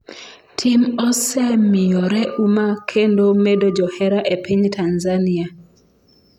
tim osemiyore uma kendo medo johera e piny Tanzania